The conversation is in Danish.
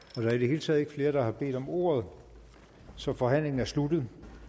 der er i det hele taget ikke flere der har bedt om ordet så forhandlingen er sluttet